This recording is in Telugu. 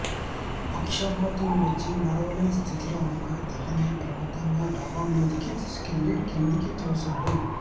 పక్షవాతం వచ్చి నడవలేని స్థితిలో ఉన్న తల్లిని బలవంతంగా డాబా మీదకి తీసుకెళ్లి కిందకి తోశాడు